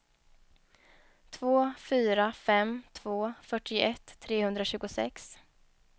två fyra fem två fyrtioett trehundratjugosex